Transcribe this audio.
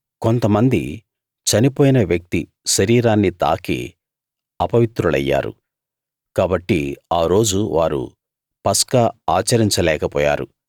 కొంతమంది చనిపోయిన వ్యక్తి శరీరాన్ని తాకి అపవిత్రులయ్యారు కాబట్టి ఆ రోజు వారు పస్కా ఆచరించలేక పోయారు